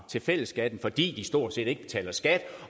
til fælleskassen fordi de stort set ikke betaler skat